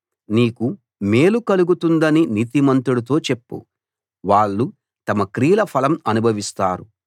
నీకు మేలు కలుగుతుందని నీతిమంతుడితో చెప్పు వాళ్ళు తమ క్రియల ఫలం అనుభవిస్తారు